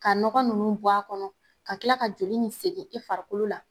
Ka nɔgɔn nunnu bɔ a kɔnɔ ka tila ka joli nin segin i farikolo la